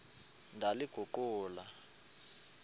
ndaliguqula